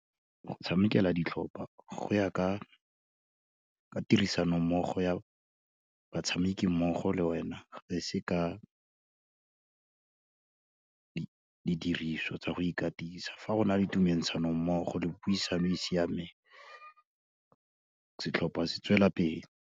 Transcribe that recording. Go tshamekela ditlhopa go ya ka tirisanommogo ya batshameki mmogo le wena, ga e se ka didiriswa tsa go ikatisa, fa go na le tumentshanommogo le puo e e siameng, setlhopha se tswelelapele.